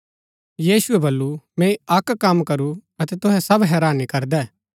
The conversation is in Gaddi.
यीशुऐ बल्लू मैंई अक्क कम करू अतै तुहै सब हैरानी करदै